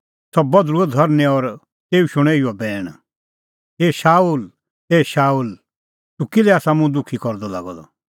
सह बधल़ुअ धरनीं और तेऊ शूणअ इहअ बैण ए शाऊल ए शाऊल तूह किल्है आसा मुंह दुखी करदअ लागअ द